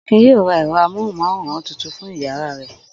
Akin yóò ra ẹ̀rọ amóhùmáwòhán tuntun fún ìyàrá rẹ̀.